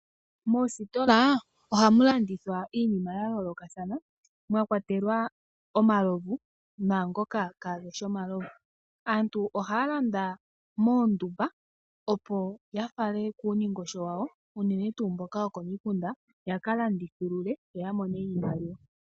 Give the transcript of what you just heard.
Moositola ohamu landithwa iinima ya yoolokathana mwa kwatelwa omalovu naangoka kageshi omalovu. Aantu ohaya landa moondumba, opo ya faalele kuundingosho wawo. Uunene tuu mboka wokomikunda yaka landithulule yo ya mone iimaliwa.